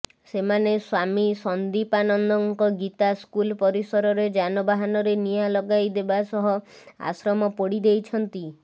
ସେମାନେ ସ୍ବାମୀ ସନ୍ଦୀପାନନ୍ଦଙ୍କ ଗୀତା ସ୍କୁଲ୍ ପରିସରରେ ଯାନବାହନରେ ନିଆଁ ଲଗାଇ ଦେବାସହ ଆଶ୍ରମ ପୋଡ଼ି ଦେଇଛନ୍ତି